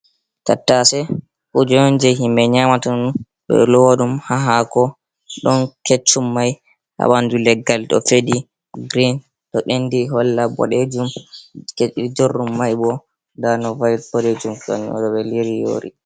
Tattase kuje on je himɓe nyamata, ɓeɗo lowa ɗum ha hako, ɗon keccum mai habandu leggal ɗo feɗi grein, to ɓendi holla boɗejum, jorɗum mai bo nda no va'i bodejum on ɗo be liri yori.